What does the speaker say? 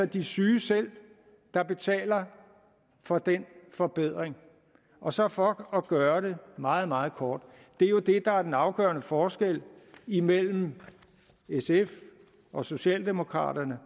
de syge selv der betaler for den forbedring og så for at gøre det meget meget kort det er jo det der er den afgørende forskel imellem sf og socialdemokraterne og